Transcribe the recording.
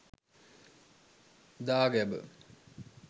dagaba